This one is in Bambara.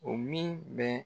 O min bɛ